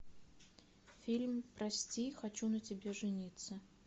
фильм прости хочу на тебе жениться